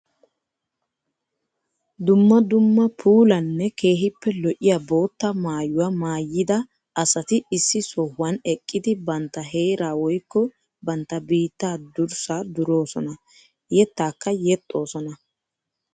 Dumma dumma puulanne keehippe lo'iya bootta maayuwa maayidda asatti issi sohuwan eqqiddi bantta heera woykko bantta biitta durssa durossonna. Yettakka yexxosonna.